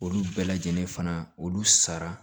Olu bɛɛ lajɛlen fana olu sara